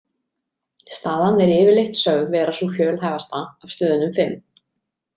Staðan er yfirleitt sögð vera sú fjölhæfasta af stöðunum fimm.